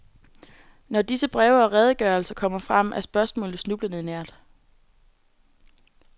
Når disse breve og redegørelser kommer frem er spørgsmålet snublende nært.